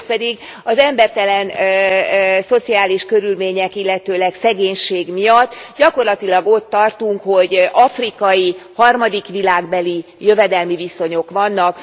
Másrészt pedig az embertelen szociális körülmények, illetőleg szegénység miatt gyakorlatilag ott tartunk, hogy afrikai, harmadik világbeli jövedelmi viszonyok vannak.